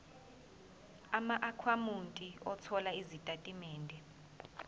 amaakhawunti othola izitatimende